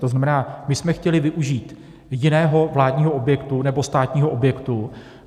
To znamená, my jsme chtěli využít jiného vládního objektu nebo státního objektu.